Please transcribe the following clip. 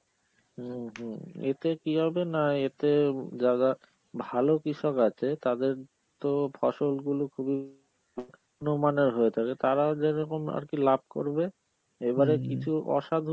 উম হম এতে কি হবে না এতে যারা ভালো কৃষক আছে তাদের তো ফসল গুলো খুবই মানের হয়ে থাকে, তারাও যেরকম আর কি লাভ করবে, এবারে কিছু অসাধু